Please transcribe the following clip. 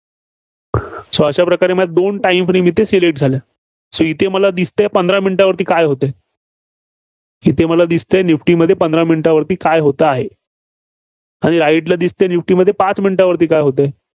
So अशा प्रकारे माझ्या दोन time frame इथं Select झाल्या. so इथे मला दिसतंय पंधरा minute वर काय होतंय. इथे मला दिसतेय निफ्टीमध्ये पंधरा minute वरती काय होतं आहे. आणि right ला दिसतंय निफ्टीला पाच minute वर काय होतंय?